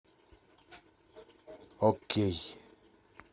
окей